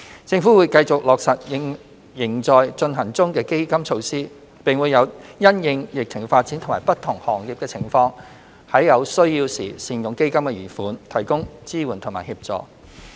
政府會繼續落實仍在進行中的基金措施，並會因應疫情發展和不同行業的情況，於有需要時善用基金的餘款，提供支援及協助。